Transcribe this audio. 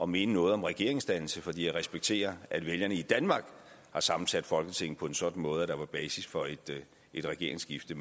mene noget om regeringsdannelsen fordi jeg respekterer at vælgerne i danmark har sammensat folketinget på en sådan måde at der var basis for et regeringsskifte